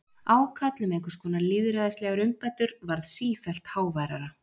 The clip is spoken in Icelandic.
Ákall um einhvers konar lýðræðislegar umbætur varð sífellt háværara.